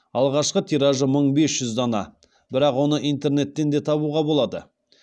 алғашқы тиражы мың бес жүз дана бірақ оны интернеттен де табуға болады